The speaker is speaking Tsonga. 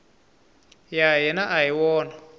ya hina a hi wona